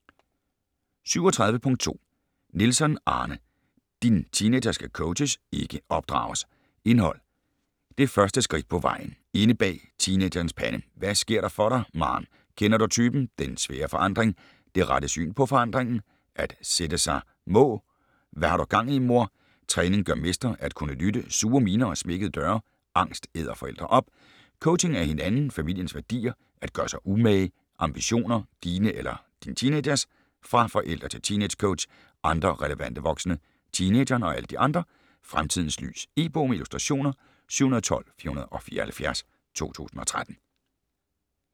37.2 Nielsson, Arne: Din teenager skal coaches, ikke opdrages Indhold: Det første skridt på vejen, Inde bag teenagerens pande, Hvad sker der for dig, maarn, Kender du typen?, Den svære forandring, Det rette syn på forandringen, At sætte sig må, Hva' har du gang i, mor?, Træning gør mester, At kunne lytte, Sure miner og smækkede døre, Angst æder forældre op, Coaching af hinanden, familiens værdier, At gøre sig umage, Ambitioner - dine eller din teenagers?, Fra forældre til teeangecoach, Andre relevante voksne, Teenageren og alle de andre, "Fremtidens lys". E-bog med illustrationer 712474 2013.